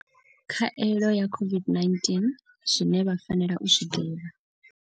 Khaelo ya COVID-19. Zwine vha fanela u zwi ḓivha.